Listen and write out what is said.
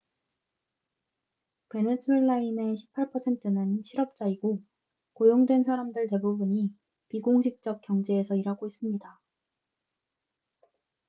베네수엘라인의 18%는 실업자이고 고용된 사람들 대부분이 비공식적 경제에서 일하고 있습니다